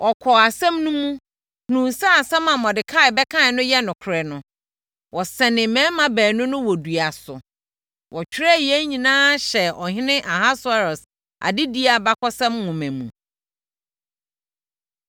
Wɔkɔɔ asɛm no mu, hunuu sɛ asɛm a Mordekai bɛkaeɛ no yɛ nokorɛ no, wɔsɛnee mmarima baanu no wɔ dua so. Wɔtwerɛɛ yei nyinaa hyɛɛ ɔhene Ahasweros adedie abakɔsɛm nwoma mu.